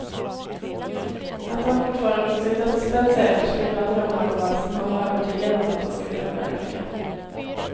Att han fortfarande på sin dödsbädd säkert skulle ha drömmar kvar som han var övertygad om att han skulle förverkliga.